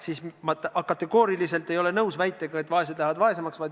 Seega, ma kategooriliselt ei ole nõus väitega, et vaesed lähevad vaesemaks.